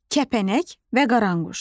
Kəpənək və Qaranquş.